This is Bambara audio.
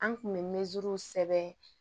An kun bɛ sɛbɛn